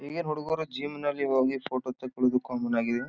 ಈಗಿನ ಹುಡುಗುರು ಜಿಮ್ ನಲ್ಲಿ ಹೋಗಿ ಫೋಟೋ ತೆಕೊಳ್ಳುವುದು ಕಾಮನ್ ಆಗಿದೆ.